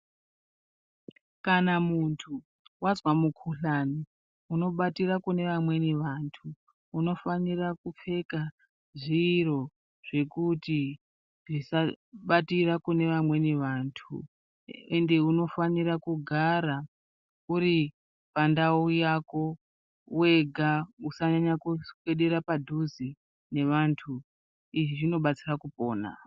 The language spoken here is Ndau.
Kana muntu wazwa mukuhlani, unobatira kune vamweni vantu, unofanira kupfeka zviro zvekuti tisabatira kune vamweni vantu, ende unofanire kugara uri pandau yako wega usanyanya kuswedera padhuze nevantu ,izvi zvinobatsira kupona.